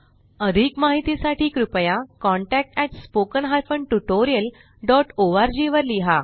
अधिक माहिती साठी कृपया contactspoken tutorialorg वर लिहा